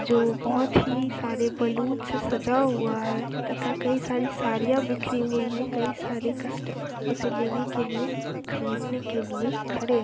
जो बहुत ही सारे बलून से सजा हुआ है तथा कई सारी सरियाँ बिखरी हुई हैं कई सारे कस्टमर उसे लेने के लिए खरीदने के लिए खड़े हैं |